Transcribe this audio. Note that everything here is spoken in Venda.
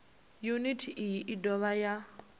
yuniti iyi i dovha ya